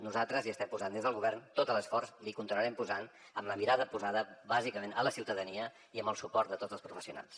nosaltres hi estem posant des del govern tot l’esforç l’hi continuarem posant amb la mirada posada bàsicament a la ciutadania i amb el suport de tots els professionals